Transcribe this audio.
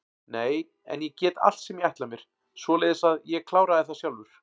Nei en ég get allt sem ég ætla mér, svoleiðis að ég kláraði það sjálfur.